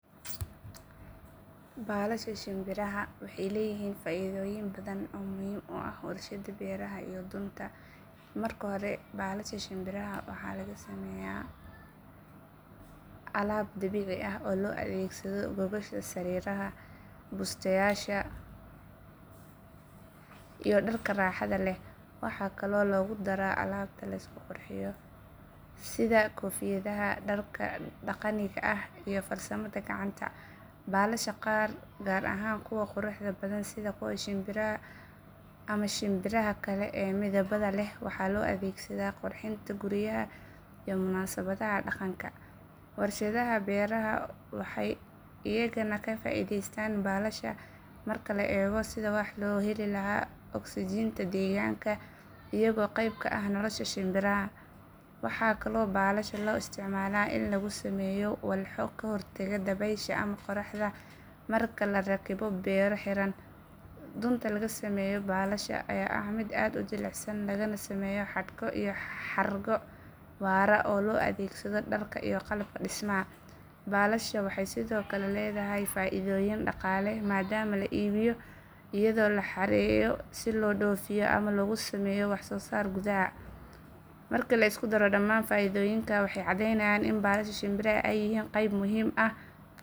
Baalasha shinbiraha waxay leeyihiin faa’iidooyin badan oo muhiim u ah warshadaha beeraha iyo dunta. Marka hore baalasha shinbiraha waxaa laga sameeyaa alaab dabiici ah oo loo adeegsado gogosha sariiraha, busteyaasha iyo dharka raaxada leh. Waxaa kaloo lagu daraa alaabta la isku qurxiyo sida koofiyadaha, dharka dhaqaniga ah iyo farsamada gacanta. Baalasha qaar gaar ahaan kuwa quruxda badan sida kuwa shinbiraha Guinea ama shimbiraha kale ee midabada leh waxaa loo adeegsadaa qurxinta guryaha iyo munaasabadaha dhaqanka. Warshadaha beeraha waxay iyana ka faa’iidaystaan baalasha marka la eego sidii wax looga heli lahaa ogsijiinta deegaanka iyagoo qayb ka ah nolosha shinbiraha. Waxaa kaloo baalasha loo isticmaalaa in lagu sameeyo walxo ka hortaga dabaysha ama qorraxda marka la rakibo beero xiran. Dunta laga sameeyo baalasha ayaa ah mid aad u jilicsan lagana sameeyo xadhko iyo xargo waara oo loo adeegsado dharka iyo qalabka dhismaha. Baalasha waxay sidoo kale leedahay faa’iidooyin dhaqaale maadaama la iibiyo iyadoo la xareeyo si loo dhoofiyo ama loogu sameeyo waxsoosaar gudaha. Marka la isku daro dhamaan faa’iidooyinkaas waxay cadeynayaan in baalasha shinbiraha ay yihiin qayb muhiim ah